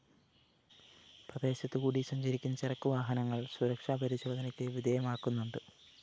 പ്രദേശത്തു കൂടി സഞ്ചരിക്കുന്ന ചരക്ക് വാഹനങ്ങള്‍ സുരക്ഷാ പരിശോധനയ്ക്ക് വിധേയമാക്കുന്നുണ്ട്